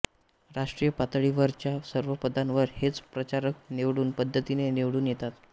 राष्ट्रीय पातळीवरच्या सर्व पदांवर हेच प्रचारक निवडणूक पद्धतीने निवडून येतात